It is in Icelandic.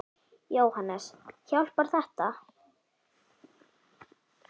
Jóhannes: Hjálpar þetta?